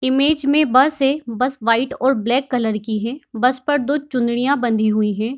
Image बस है white और ब्लैक कलर की है बस पर दो चुनरियाँ बंधी हुई हैं।